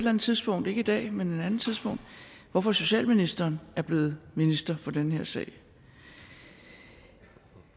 andet tidspunkt ikke i dag men på et andet tidspunkt hvorfor socialministeren er blevet minister for den her sag vi